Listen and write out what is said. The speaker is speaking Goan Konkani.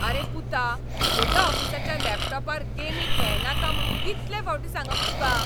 आरे पुता, म्हज्या ऑफिसाच्या लॅपटॉपार गेमी खेळनाका म्हूण कितलें फावटीं सांगप तुका?